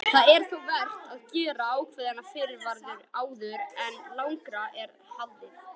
Það er þó vert að gera ákveðna fyrirvara áður en lengra er haldið.